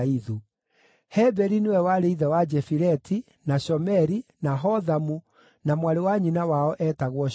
Heberi nĩwe warĩ ithe wa Jefileti, na Shomeri, na Hothamu, na mwarĩ wa nyina wao eetagwo Shua.